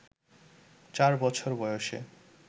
চার বছর বয়সে